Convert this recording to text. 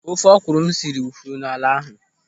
Ofe ọkwụrụ m siri wụfuru n'ala ahụ.